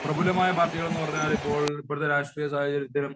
പ്രഭുലമായ പാർട്ടികൾ പറഞ്ഞാലിപ്പോൾ ഇപ്പോഴത്തെ രാഷ്ട്രീയ സാഹചര്യത്തില്